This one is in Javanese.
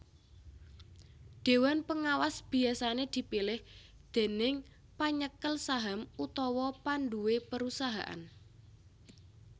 Déwan pengawas biyasané dipilih déning panyekel saham utawa panduwé perusahaan